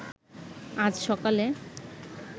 আজ সকালে